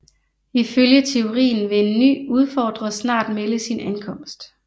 Ifølge teorien vil en ny udfordrer snart melde sin ankomst